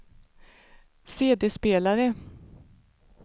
CD-spelare